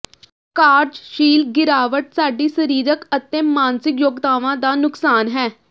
ਕਾਰਜਸ਼ੀਲ ਗਿਰਾਵਟ ਸਾਡੀ ਸਰੀਰਕ ਅਤੇ ਮਾਨਸਿਕ ਯੋਗਤਾਵਾਂ ਦਾ ਨੁਕਸਾਨ ਹੈ